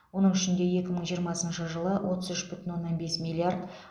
оның ішінде екі мың жиырмасыншы жылы отыз үш бүтін оннан бес миллиард